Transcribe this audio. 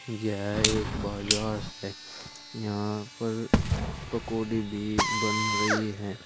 यह एक बाजार है यहां पर पकौड़ी भी बन रही हैं।